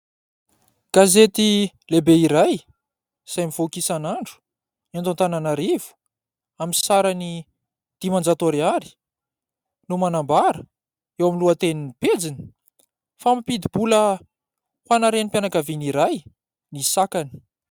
Gazety lehibe iray izay mivoaka isanandro eto Antananarivo, amin'ny sarany dimanjato ariary no manambara eo amin'ny lohatenin'ny pejiny fa mampidi-bola ho ana renimpianakaviana iray ny sakany.